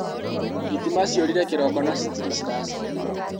Thitima ciũrire kĩroko na citirĩ ciracoka.